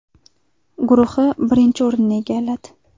guruhi birinchi o‘rinni egalladi.